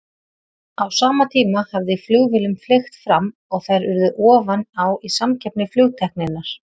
Á sama tíma hafði flugvélum fleygt fram og þær urðu ofan á í samkeppni flugtækninnar.